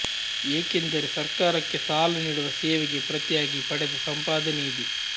ಏಕೆಂದರೆ ಸರ್ಕಾರಕ್ಕೆ ಸಾಲ ನೀಡುವ ಸೇವೆಗೆ ಪ್ರತಿಯಾಗಿ ಪಡೆದ ಸಂಪಾದನೆಯಿದು